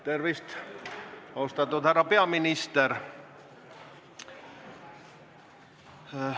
Tervist, austatud härra peaminister!